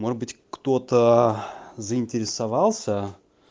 может быть кто-то заинтересовался